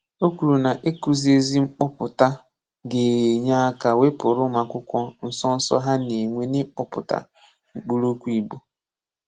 Ó kwùrù na ịkụ́zì ezi mkpọ̀pụ̀tà gà-enye aka wépụ̀rụ̀ ụmụ́akwụ́kwọ́ nsọ́nsọ́ ha na-enwè n’ịkụ́pụ̀tà mkpụrụ̀okwu Igbo.